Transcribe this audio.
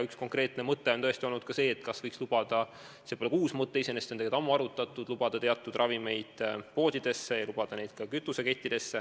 Üks konkreetne mõte on tõesti olnud ka see, et kas võiks lubada – see pole iseenesest uus mõte, seda on juba ammu arutatud – teatud ravimeid müüa poodides ja ka kütusekettides.